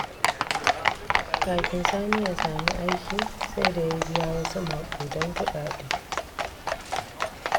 Kafin Sani ya sami aiki, sai da ya biya wasu maƙudan kuɗaɗe.